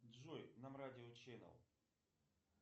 джой нам радио ченел